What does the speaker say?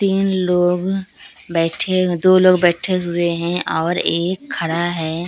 तीन लोग बैठे दो लोग बैठे हुए हैं और एक खड़ा है।